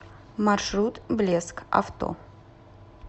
маршрут блеск авто